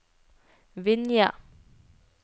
Vinje